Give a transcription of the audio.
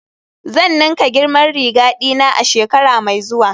Zan ninka girman riga dina a shekara mai zuwa